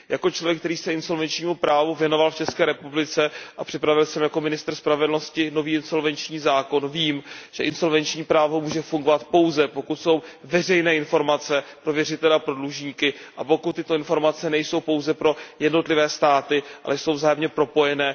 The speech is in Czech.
Jako člověk, který se insolvenčnímu právu věnoval v České republice a připravil jako ministr spravedlnosti nový insolvenční zákon, vím, že insolvenční právo může fungovat pouze, pokud jsou informace pro věřitele a pro dlužníky veřejné a pokud tyto informace nejsou pouze pro jednotlivé státy, ale jsou vzájemně propojené.